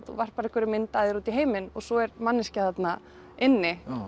varpar einhverri mynd af þér út í heiminn og svo er manneskja þarna inni